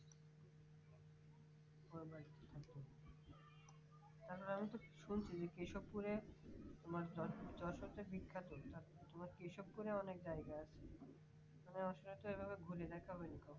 আমি তো শুনছি কেশবপুরে তোমার যে যশোরে যে বিখ্যাত তা তোমার কেশবপুর রে অনেক জায়গা আছে আমি যশোরে তো ওভাবে ঘুরি নাই